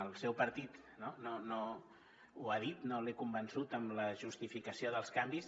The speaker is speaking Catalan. al seu partit ho ha dit no l’he convençut amb la justificació dels canvis